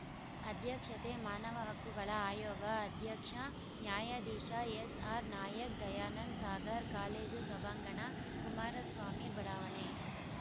ಅಧ್ಯಕ್ಷತೆ ಮಾನವ ಹಕ್ಕುಗಳ ಆಯೋಗ ಅಧ್ಯಕ್ಷ ನ್ಯಾಯ ಎಸ್‌ಆರ್‌ನಾಯಕ್‌ ದಯಾನಂದ ಸಾಗರ್‌ ಕಾಲೇಜು ಸಭಾಂಗಣ ಕುಮಾರಸ್ವಾಮಿ ಬಡಾವಣೆ